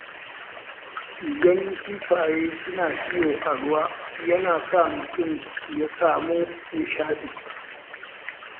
Ganin kifaye suna iyo a ruwa yana sa mutum ya samu nishaɗi.